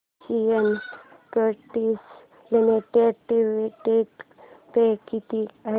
Asian Paints Limited dividend pay किती आहे